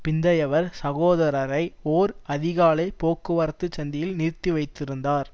பிந்தையவர் சகோதரரை ஓர் அதிகாலை போக்குவரத்து சந்தியில் நிறுத்தி வைத்திருந்தார்